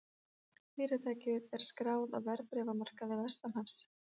Fyrirtækið er skráð á verðbréfamarkaði vestanhafs